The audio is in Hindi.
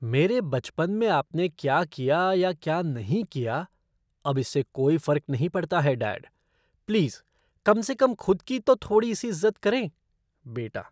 मेरे बचपन में आपने क्या किया या क्या नहीं किया, अब इससे कोई फर्क नहीं पड़ता है, डैड। प्लीज़ कम से कम खुद की तो थोड़ी सी इज़्ज़त करें! बेटा